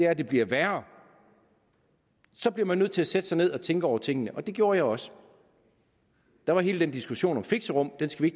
at det bliver værre så bliver man nødt til at sætte sig ned og tænke over tingene og det gjorde jeg også der var hele den diskussion om fixerum den skal vi